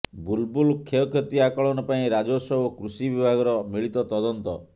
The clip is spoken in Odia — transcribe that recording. ବୁଲବୁଲ କ୍ଷୟକ୍ଷତି ଆକଳନ ପାଇଁ ରାଜସ୍ୱ ଓ କୃଷି ବିଭାଗର ମିଳିତ ତଦନ୍ତ